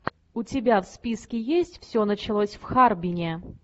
у тебя в списке есть все началось в харбине